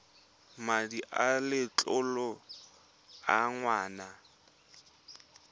madi a letlole a ngwana